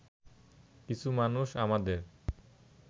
কিছু মানুষ আমাদের